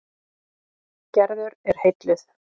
Gerður er heilluð.